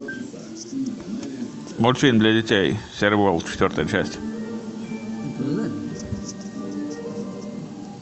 мультфильм для детей серый волк четвертая часть